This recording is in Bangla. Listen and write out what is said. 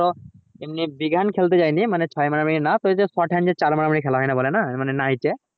এমনি big hand খেলতে যায়নি মানে ওই ছয় মারা মারি না তবে যে short hand এ চার মারা মারি খেলা হয় না night এ